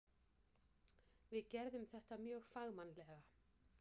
Við gerðum þetta mjög fagmannlega.